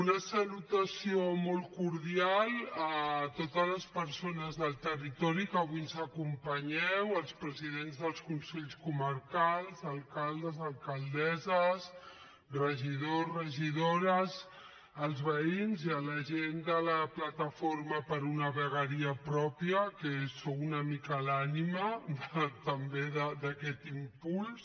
una salutació molt cordial a totes les persones del territori que avui ens acompanyeu als presidents dels consells comarcals alcaldes alcaldesses regidors regidores als veïns i a la gent de la plataforma per una vegueria pròpia que sou una mica l’ànima també d’aquest impuls